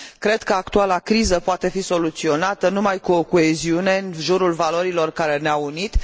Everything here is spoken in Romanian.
Cred că actuala criză poate fi soluționată numai cu o coeziune în jurul valorilor care ne au unit.